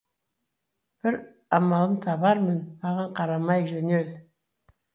бір амалын табармын маған қарамай жөнел